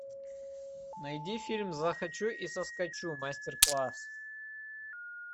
найди фильм захочу и соскочу мастер класс